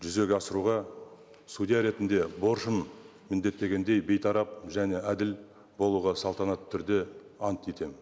жүзеге асыруға судья ретінде борышым міндеттегендей бейтарап және әділ болуға салтанатты түрде ант етемін